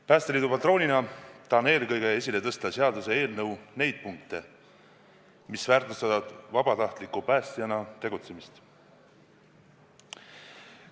Päästeliidu patroonina tahan eelkõige esile tõsta seaduseelnõu neid punkte, mis väärtustavad vabatahtliku päästjana tegutsemist.